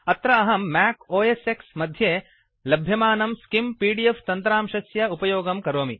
अत्र अहं Mac OS X मध्ये लभ्यमानं स्किम् पीडीएफ तन्त्रांशस्य उपयोगं करोमि